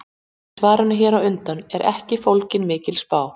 Í svarinu hér á undan er ekki fólgin mikil spá.